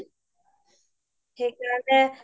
হয় হয় হয়